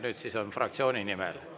Nüüd siis on fraktsiooni nimel.